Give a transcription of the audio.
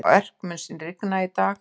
Örk, mun rigna í dag?